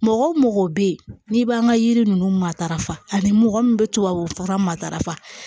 Mɔgɔ wo mɔgɔ bɛ yen n'i b'an ka yiri ninnu matarafa ani mɔgɔ min bɛ tubabufura matarafa